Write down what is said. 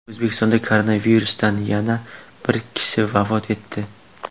O‘zbekistonda koronavirusdan yana bir kishi vafot etdi.